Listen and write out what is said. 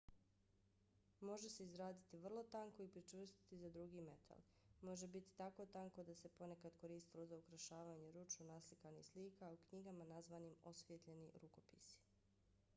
može se izraditi vrlo tanko i pričvrstiti za drugi metal. može biti tako tanko da se ponekad koristilo za ukrašavanje ručno naslikanih slika u knjigama nazvanim osvijetljeni rukopisi